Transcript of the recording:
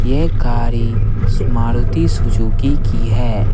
यह गाड़ी मारुती सुजुकी की है।